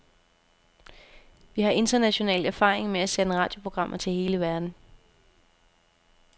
Vi har international erfaring med at sende radioprogrammer til hele verden.